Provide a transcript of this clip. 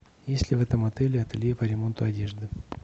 есть ли в этом отеле ателье по ремонту одежды